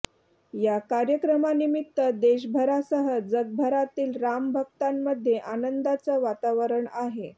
या कार्यक्रमानिमित्त देशभरासह जगभरातील राम भक्तांमध्ये आनंदाचं वातावरण आहे